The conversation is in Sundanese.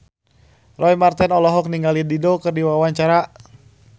Roy Marten olohok ningali Dido keur diwawancara